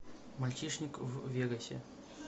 мальчишник в вегасе